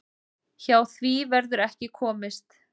Hjá því verður ekki komist.